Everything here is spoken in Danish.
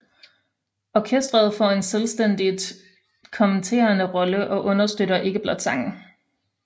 Orkestret får en selvstændigt kommenterende rolle og understøtter ikke blot sangen